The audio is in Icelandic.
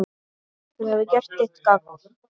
Þú hefur gert þitt gagn.